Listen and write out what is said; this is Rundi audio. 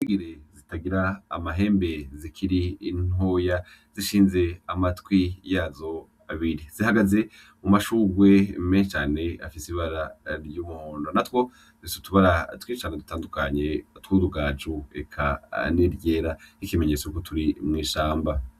Ingeregere zitagira amahembe zikiri ntoya zishinze amatwi yazo abiri. Zihagaze mumashugwe menshi cane afise ibara ry'umuhondo, natwo dufise utubara twinshi cane dutandukanye twutugaju, eka n'iryera nk'ikimenyetso yuko turi mw'ishamba.